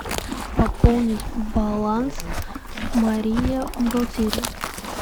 пополнить баланс мария бухгалтерия